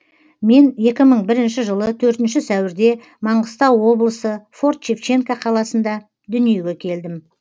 мен екі мың бірінші жылы төртінші сәуірде маңғыстау облысы форт шевченко қаласында дүниеге келдім